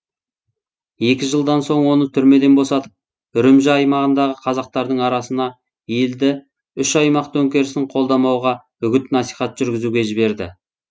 екі жылдан соң оны түрмеден босатып үрімжі аймағындағы қазақтардың арасына елді үш аймақ төңкерісін қолдамауға үгіт насихат жүргізуге жіберді